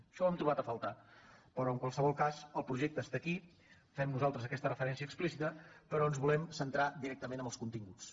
això ho hem trobat a faltar però en qualsevol cas el projecte està aquí fem nosaltres aquesta refe·rència explícita però ens volem centrar directament en els continguts